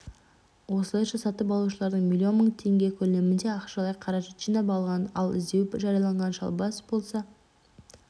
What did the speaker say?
осылайша сатып алушылардан миллион мың теңге көлемінде ақшалай қаражат жинап алған ал іздеу жарияланған шалбасов болса